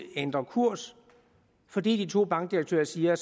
ændrer kurs fordi de to bankdirektører siger at